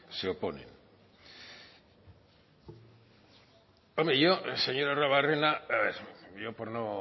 se oponen hombre yo señor arruabarrena yo por no